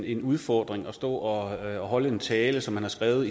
en udfordring at stå og og holde en tale som man har skrevet